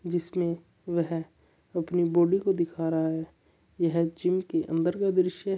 जिसमें वह अपनी बॉडी को दिखा रहा है यह जिम के अंदर का दृश्य है।